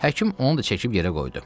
Həkim onu da çəkib yerə qoydu.